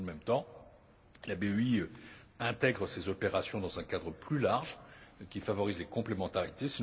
Dans le même temps, la BEI intègre ses opérations dans un cadre plus large qui favorise les complémentarités.